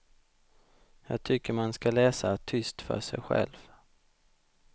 Jag tycker man ska läsa tyst för sig själv.